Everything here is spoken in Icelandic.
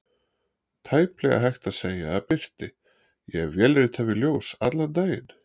Tæplega hægt að segja að birti: ég vélrita við ljós allan daginn.